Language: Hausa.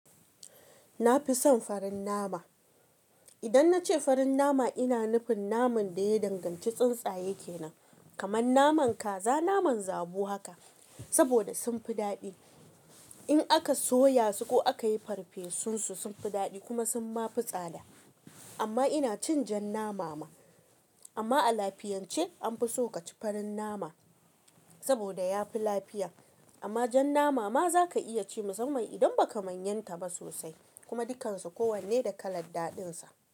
Na fi son farin nama. Idan na ce farin nama, ina nufin naman da ya danganci tsuntsaye ke nan, kamar naman kaza, naman zabo haka. Saboda sun fi daɗi in aka soya su ko aka yi farfesun su, sun fi daɗi kuma sun ma fi tsada. Amma ina cin jan nama ma. Amma a lafiyance an fi so ka ci farin nama saboda ya fi lafiya. Amma jan nama ma za ka iya ci musamman idan ba ka manyanta ba sosai. Kuma dukansu kowanne da kalar daɗinsa.